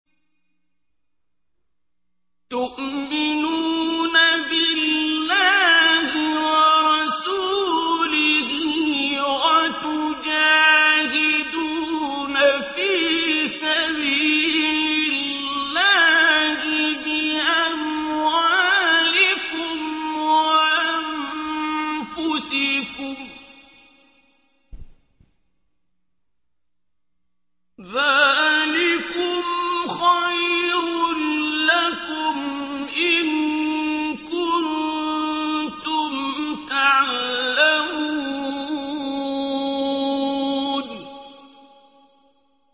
تُؤْمِنُونَ بِاللَّهِ وَرَسُولِهِ وَتُجَاهِدُونَ فِي سَبِيلِ اللَّهِ بِأَمْوَالِكُمْ وَأَنفُسِكُمْ ۚ ذَٰلِكُمْ خَيْرٌ لَّكُمْ إِن كُنتُمْ تَعْلَمُونَ